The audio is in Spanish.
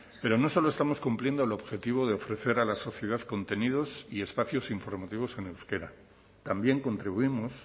pero no solo estamos cumpliendo el objetivo de ofrecer a la sociedad contenidos y espacios informativos en euskera también contribuimos